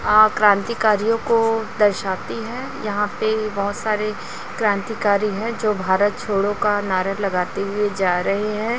आ क्रांतिकारियों को दर्शाती हैं यहाॅं पे बहोत सारे क्रांतिकारी हैं जो भारत छोड़ो का नारा लगाते हुए जा रहे हैं।